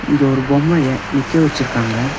இங்க ஒரு பொம்மைய நிக்க வச்சுருக்காங்க.